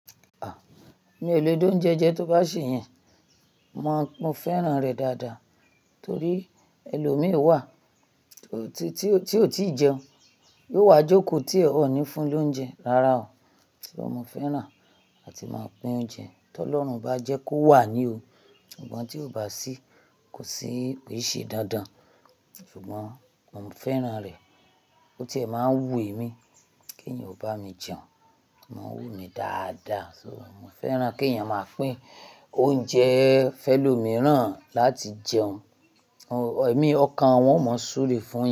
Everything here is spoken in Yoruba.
A! Mi ò le dún oúnjẹ jẹ tó bá ṣè yẹn. Mo, mo fẹ́ràn rẹ̀ dáadáa torí ẹlòmíràn wà tó, tí, tí ó, tí ó ti jẹun. Yóò wá jókòó tí ẹ ò ní fún lóúnjẹ. Rárá o, tí mo fẹ́ràn á ti máa pín oúnjẹ. Tí Ọlọ́run bá jẹ́ kó wà ní o, sùgbọ́n tí kò bá sí kò sí pèsè dandan Ṣùgbọ́n mo fẹ́ràn rẹ̀ bó tí ẹ máa wú èmi kí èèyàn ò bá mi jẹun. Mo ń wú mi dáadáa, so mo fẹ́ràn kí èèyàn máa pín oúnjẹ fẹ́lòmíràn láti jẹun. O, èmi, ọkàn wọn ò mọ ṣúre fún.